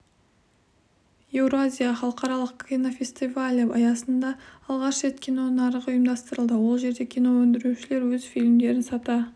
еуразия халықаралық кинофестивалі аясында алғаш рет кино нарығы ұйымдастырылды ол жерде кино өндірушілер өз фильмдерін сата